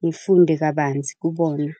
ngifunde kabanzi kubona.